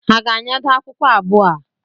Ha ga-anyado akwụkwọ abụọ a